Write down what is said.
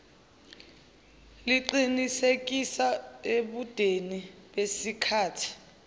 liqinisekise ebudeni besikhathi